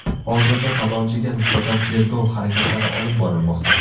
Hozirda talonchiga nisbatan tergov harakatlari olib borilmoqda.